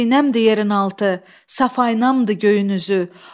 Xəzinəmdir yerin altı, safayımdır göyün üzü.